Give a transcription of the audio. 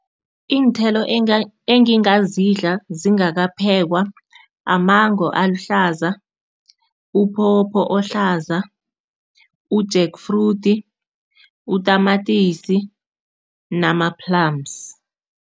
Iinthelo engingazidla zingakaphekwa, amango aluhlaza, uphopho ohlaza, u-jack fruit, utamatisi nama-plums.